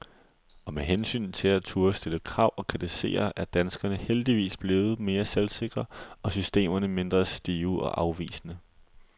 Og med hensyn til at turde stille krav og kritisere er danskerne heldigvis blevet mere selvsikre, og systemerne mindre stive og afvisende.